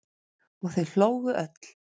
Og þau hlógu öll.